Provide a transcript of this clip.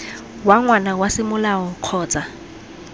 wa ngwana wa semolao kgotsa